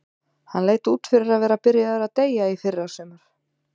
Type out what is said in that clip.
Hann leit út fyrir að vera byrjaður að deyja í fyrrasumar.